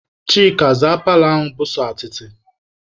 Chika, zaa paalọ ahụ bụ sọ atịtị!